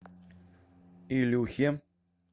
илюхе